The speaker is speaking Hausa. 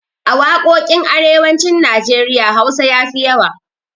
A waƙoƙin arewacin Najeriya Hausa ya fi yawa.